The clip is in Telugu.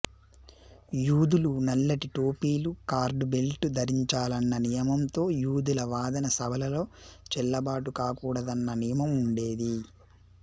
యూదులు నల్లటి టోపీలు కార్డ్ బెల్టు ధరించాలన్న నియమంతో యూదుల వాదన సభలలో చెల్లుబాటు కాకూడదన్న నియమం ఉండేది